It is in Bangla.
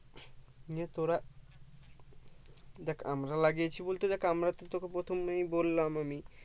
তোরা দেখ আমরা লাগিয়েছি বলতে দেখ আমরা তো তোকে প্রথমেই বললাম আমি ।